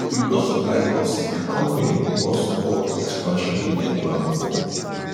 because of high cost di company pause all di expansion wey dem plan before